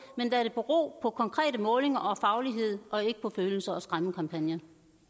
men lad det bero på konkrete målinger og faglighed og ikke på følelser og skræmmekampagner